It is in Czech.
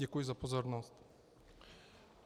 Děkuji za pozornost.